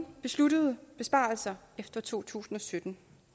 besluttet nogen besparelser efter to tusind og sytten